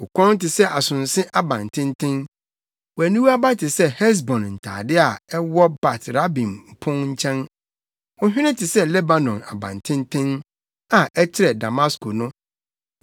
Wo kɔn te sɛ asonse abantenten. Wʼaniwa aba te sɛ Hesbon ntade a ɛwɔ Bat Rabim pon nkyɛn. Wo hwene te sɛ Lebanon abantenten a ɛkyerɛ Damasko no.